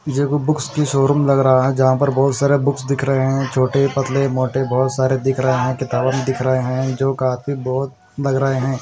ये कोई बुक्स की शोरूम लग रहा हैं जहाँ पर बहोत सारे बुक्स दिख रहे हैं छोटे पतले मोटे बहोत सारे दिख रहे हैं किताबन दिख रहे है जो काफी बहोत लग रहे है।